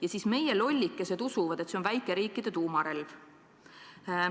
Ja siis meie lollikesed usuvad, et see on väikeriikide tuumarelv.